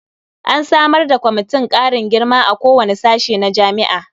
An samar da kwamitin ƙarin girma a kowane sashe na jami'a.